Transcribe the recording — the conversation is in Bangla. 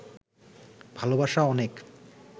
ভালোবাসা অনেক